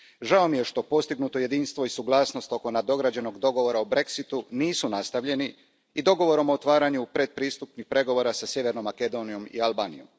Žao mi je što postignuto jedinstvo i suglasnost oko nadograđenog dogovora o Brexitu nisu nastavljeni i dogovorom o otvaranju pretpristupnih pregovora sa Sjevernom Makedonijom i Albanijom.